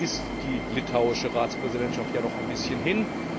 Jetzt ist die litauische Ratspräsidentschaft ja noch ein bisschen hin.